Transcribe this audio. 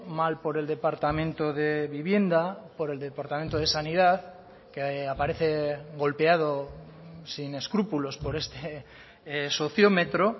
mal por el departamento de vivienda por el departamento de sanidad que aparece golpeado sin escrúpulos por este sociómetro